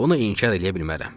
Bunu inkar eləyə bilmərəm.